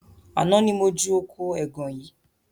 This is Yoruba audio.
Àná ni mo ju oko ẹgàn yìí